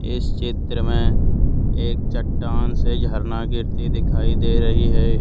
इस चित्र में एक चट्टान से झरना गिरती दिखाई दे रही है।